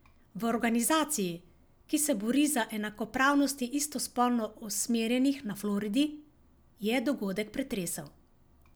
V organizaciji, ki se bori za enakopravnost istospolno usmerjenih na Floridi, je dogodek pretresel.